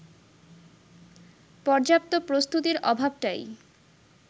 পর্যাপ্ত প্রস্তুতির অভাবটাই